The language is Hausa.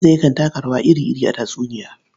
Gizo yakan yaka rawa iri-iri a tatsuniya.